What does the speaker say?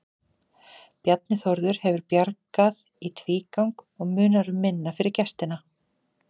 Bjarni Þórður hefur bjargað í tvígang og munar um minna fyrir gestina.